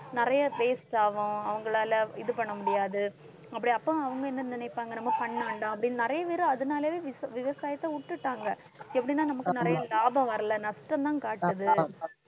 நிறைய waste ஆகும் அவங்களால இது பண்ண முடியாது அப்படி அப்ப அவங்க என்ன நினைப்பாங்க நம்ம பண்ண வேண்டாம் அப்படின்னு நிறைய பேரு அதனாலேயே விச~ விவசாயத்தை விட்டுட்டாங்க எப்படின்னா நமக்கு நிறைய லாபம் வரலை நஷ்டம்தான் காட்டுது